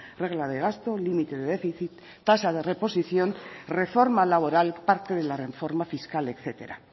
regla de gasto límite de déficit tasa de reposición reforma laboral parte de la reforma fiscal etcétera